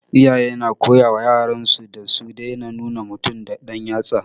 Iyaye na koyawa yaran su da su daina nuna mutum da dan yatsa